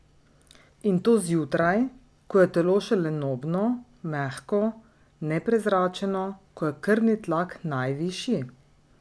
In to zjutraj, ko je telo še lenobno, mehko, neprezračeno, ko je krvni tlak najvišji?